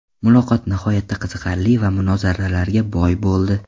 Muloqot nihoyatda qiziqarli va munozaralarga boy bo‘ldi.